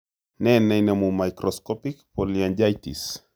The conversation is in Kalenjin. Ne neinomu microscopic polyangiitis ?